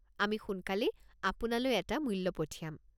আমি সোনকালেই আপোনালৈ এটা মূল্য পঠিয়াম।